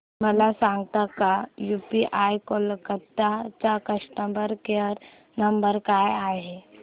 मला सांगता का यूबीआय कोलकता चा कस्टमर केयर नंबर काय आहे